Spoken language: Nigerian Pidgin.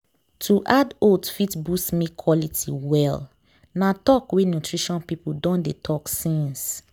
to add oats fit boost milk quality well. na talk wey nutrition people don dey talk since